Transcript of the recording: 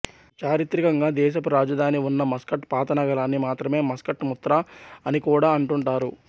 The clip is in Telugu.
చారిత్రికంగా దేశపు రాజధాని ఉన్న మస్కట్ పాత నగరాన్ని మాత్రమే మస్కట్ ముత్రా అని కూడా అంటుంటారు